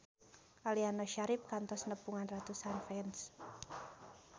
Aliando Syarif kantos nepungan ratusan fans